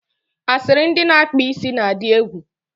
asịrị ndị na-akpa isi na-adị egwu.